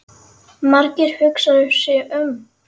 Margeir hugsar sig um.